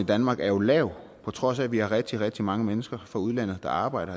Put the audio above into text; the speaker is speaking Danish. danmark er jo lav på trods af at vi har rigtig rigtig mange mennesker fra udlandet der arbejder